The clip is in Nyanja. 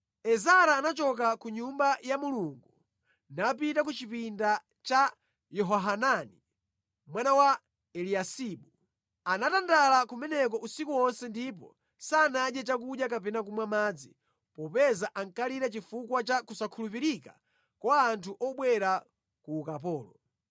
Ezara anachoka ku Nyumba ya Mulungu napita ku chipinda cha Yehohanani, mwana wa Eliyasibu. Anatandala kumeneko usiku wonse ndipo sanadye chakudya kapena kumwa madzi popeza ankalira chifukwa cha kusankhulupirika kwa anthu obwera ku ukapolo.